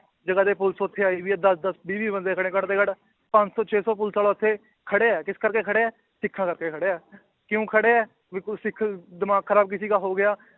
ਜਗ੍ਹਾ ਦੀ ਪੁਲਿਸ ਉੱਥੇ ਆਈ ਹੋਈ ਹੈ ਦਸ ਦਸ ਵੀਹ ਵੀਹ ਬੰਦੇ ਖੜੇ ਘੱਟ ਤੋਂ ਘੱਟ ਪੰਜ ਸੌ ਛੇ ਸੌ ਪੁਲਿਸ ਵਾਲਾ ਉੱਥੇ ਖੜਿਆ ਹੈ ਕਿਸ ਕਰਕੇ ਖੜਿਆ ਹੈ, ਸਿੱਖਾਂ ਕਰਕੇ ਖੜਿਆ ਹੈ ਕਿਉਂ ਖੜਿਆ ਹੈ ਵੀ ਕੋਈ ਸਿੱਖ ਦਿਮਾਗ ਖਰਾਬ ਕਿਸੇ ਦਾ ਹੋ ਗਿਆ